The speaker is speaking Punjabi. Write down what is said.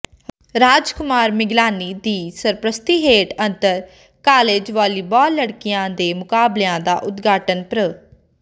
ਰਾਜ ਕੁਮਾਰ ਮਿਗਲਾਨੀ ਦੀ ਸਰਪ੍ਰਸਤੀ ਹੇਠ ਅੰਤਰ ਕਾਲਜ ਵਾਲੀਬਾਲ ਲੜਕਿਆਂ ਦੇ ਮੁਕਾਬਲਿਆਂ ਦਾ ਉਦਘਾਟਨ ਪ੍ਰੋ